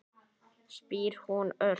spyr hún örg.